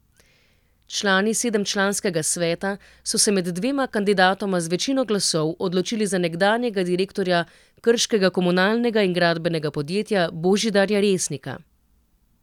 Člani sedemčlanskega sveta so se med dvema kandidatoma z večino glasov odločili za nekdanjega direktorja krškega komunalnega in gradbenega podjetja Božidarja Resnika.